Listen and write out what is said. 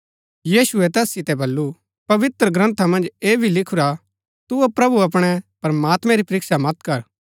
यीशुऐ तैस सितै बल्लू पवित्रग्रन्था मन्ज ऐह भी लिखूरा तू प्रभु अपणै प्रमात्मैं री परीक्षा मत कर